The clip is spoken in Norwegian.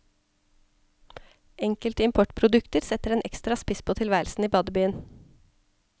Enkelte importprodukter setter en ekstra spiss på tilværelsen i badebyen.